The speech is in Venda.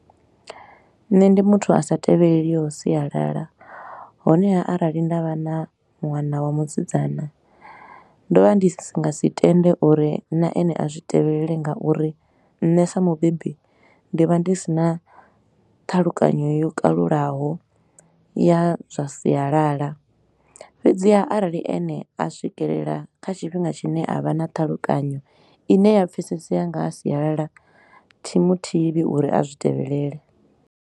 Nṋe ndi muthu a sa tevheleliho sialala, honeha arali nda vha na ṅwana wa musidzana, ndo vha ndi si nga si tende uri na ene a zwi tevhelele ngauri nṋe sa mubebi ndi vha ndi si na ṱhalukanyo yo kalulaho ya zwa sialala. Fhedziha arali ene a swikelela kha tshifhinga tshine a vha na ṱhalukanyo i ne ya pfesesea nga ha sialala thi mu thivhi uri a zwi tevhelele.